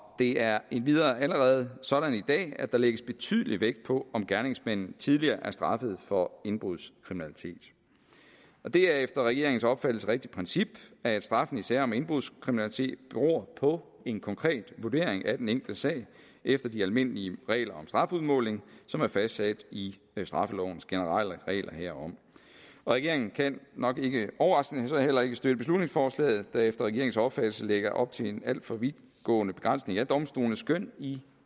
det er endvidere allerede sådan i dag at der lægges betydelig vægt på om gerningsmanden tidligere er straffet for indbrudskriminalitet det er efter regeringens opfattelse et rigtigt princip at straffen i sager om indbrudskriminalitet beror på en konkret vurdering af den enkelte sag efter de almindelige regler om strafudmåling som er fastsat i straffelovens generelle regler herom regeringen kan nok ikke overraskende så heller ikke støtte beslutningsforslaget der efter regeringens opfattelse lægger op til en alt for vidtgående begrænsning af domstolenes skøn i